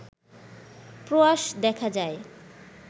প্রয়াস দেখা যায়